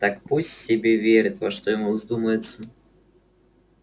так пусть себе верит во что ему вздумается